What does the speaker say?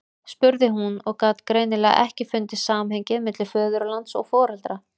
spurði hún og gat greinilega ekki fundið samhengið milli föðurlands og foreldra.